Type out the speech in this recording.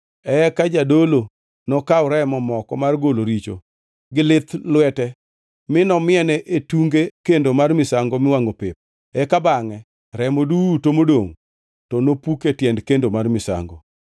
Eka jadolo nokaw remo moko mar golo richo gi lith lwete mi nomiene e tunge kendo mar misango miwangʼo pep, eka bangʼe remo duto modongʼ to nopuk e tiend kendo mar misango.